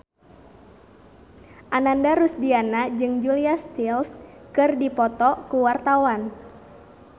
Ananda Rusdiana jeung Julia Stiles keur dipoto ku wartawan